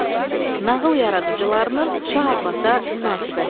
Nağıl yaradıcılarının Şah Abbasa münasibəti.